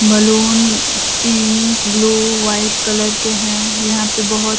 Balloon pink blue white colour के हैं यहां पे बहुत।